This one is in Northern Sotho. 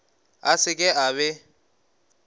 a se ke a be